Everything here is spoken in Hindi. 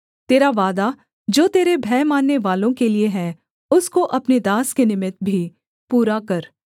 तेरा वादा जो तेरे भय माननेवालों के लिये है उसको अपने दास के निमित्त भी पूरा कर